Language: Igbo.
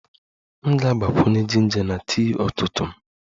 M ga-agbakwunye jinja na tii ụtụtụ m